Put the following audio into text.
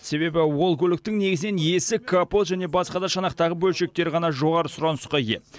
себебі ол көліктің негізінен есік капод және басқа да шанақтағы бөлшектері ғана жоғары сұранысқа ие